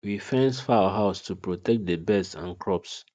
we fence fowl house to protect the birds and crops